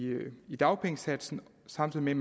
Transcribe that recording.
i dagpengesats samtidig